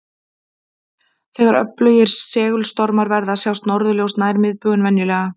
Þegar öflugir segulstormar verða sjást norðurljós nær miðbaug en venjulega.